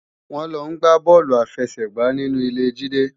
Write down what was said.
Wọ́n lọ gbá bọ́ọ̀lù àfẹsẹ̀gbá ní ilé Jídé